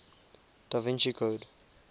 da vinci code